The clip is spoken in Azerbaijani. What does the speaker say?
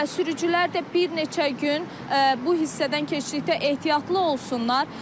Və sürücülər də bir neçə gün bu hissədən keçdikdə ehtiyatlı olsunlar.